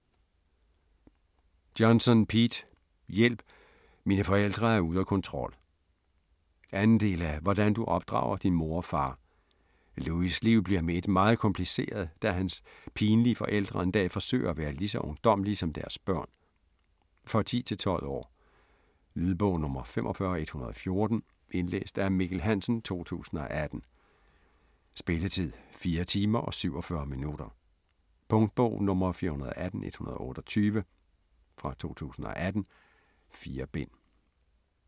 Johnson, Pete: Hjælp! Mine forældre er ude af kontrol 2. del af Hvordan du opdrager din mor og far. Louis' liv bliver med ét meget kompliceret, da hans pinlige forældre en dag forsøger at være lige så ungdommelige som deres børn. For 10-12 år. Lydbog 45114 Indlæst af Mikkel Hansen, 2018. Spilletid: 4 timer, 47 minutter. Punktbog 418128 2018. 4 bind.